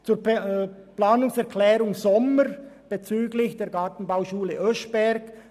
Zur Planungserklärung Sommer bezüglich der Gartenbauschule Oeschberg: